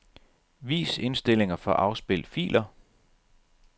Vis indstillinger for afspil filer.